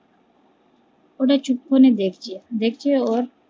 ওরা চুপ করে দেখছে দেখে ওর